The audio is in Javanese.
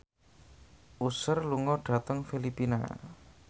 Usher lunga dhateng Filipina